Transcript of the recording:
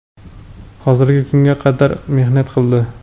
hozirgi kunga qadar mehnat qildi.